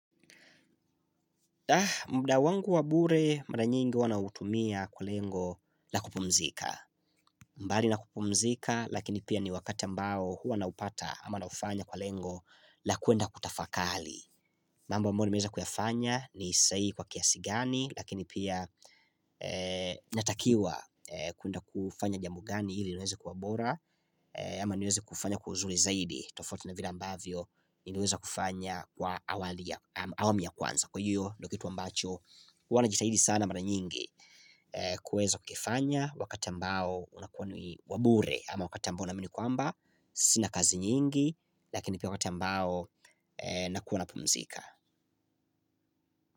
Muda wangu wa bure mara nyingi huwa nautumia kwa lengo la kupumzika. Mbali na kupumzika lakini pia ni wakati ambao huwa naupata ama naufanya kwa lengo la kwenda kutafakari. Mambo albayo nimeweza kuyafanya ni sahihi kwa kiasi gani, lakini pia natakiwa kwenda kufanya jambo gani ili niweze kuwa bora Ama niweze kufanya kwa uzuri zaidi tofauti na vile ambavyo niliweza kufanya kwa awamu ya kwanza, Kwa hiyo ndio kitu ambacho huwa najitahidi sana mara nyingi kuweza kukifanya wakati ambao unakuwa ni wa bure ama wakata ambao naamini kwamba Sina kazi nyingi lakini pia wakati ambao nakuwa napumzika.